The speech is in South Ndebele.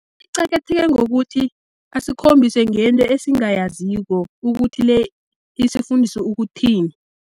Icakatheke ngokuthi asikhombise ngento esingayaziko, ukuthi le isifundisa ukuthini.